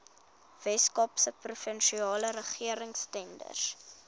weskaapse provinsiale regeringstenders